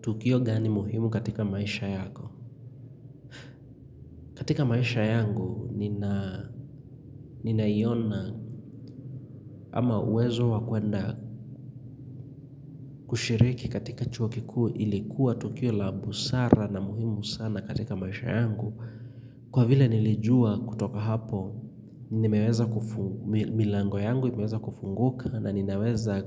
Tukio gani muhimu katika maisha yako? Katika maisha yangu, ninaiona ama uwezo wa kwenda kushiriki katika chuo kikuu ilikuwa tukio la busara na muhimu sana katika maisha yangu. Kwa vile nilijua kutoka hapo, milango yangu imeweza kufunguka na ninaweza